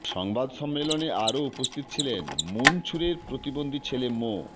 সংবাদ সম্মেলনে আরো উপস্থিত ছিলেন মুনছুরের প্রতিবন্ধী ছেলে মো